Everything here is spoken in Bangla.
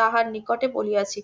তাহার নিকটে বলিয়াছি